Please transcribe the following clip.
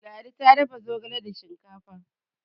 ladi ta dafa zogale da shinkafa